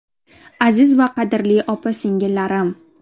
Aziz va qadrli opa-singillarim!